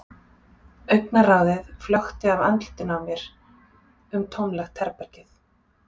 Augnaráðið flökti af andlitinu á mér um tómlegt herbergið.